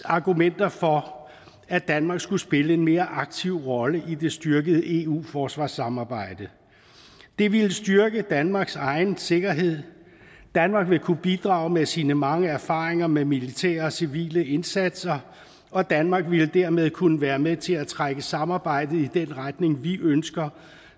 argumenter for at danmark skulle spille en mere aktiv rolle i det styrkede eu forsvarssamarbejde det ville styrke danmarks egen sikkerhed danmark ville kunne bidrage med sine mange erfaringer med militære og civile indsatser og danmark ville dermed kunne være med til at trække samarbejdet i den retning vi ønsker